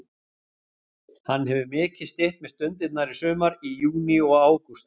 Hann hefur mikið stytt mér stundirnar í sumar, í júní og ágúst.